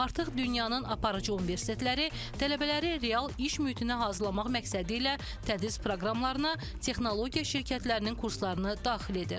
Artıq dünyanın aparıcı universitetləri tələbələri real iş mühitinə hazırlamaq məqsədi ilə tədris proqramlarına texnologiya şirkətlərinin kurslarını daxil edir.